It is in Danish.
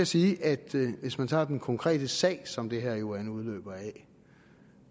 sige at hvis man tager den konkrete sag som det her jo er en udløber af